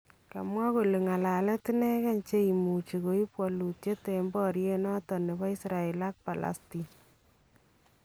Kamwaa kole ngalalet inekee cheimuchi koib walutyeet en baryeet noton nebo Israel ak Palestine